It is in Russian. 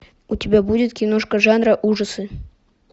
у тебя будет киношка жанра ужасы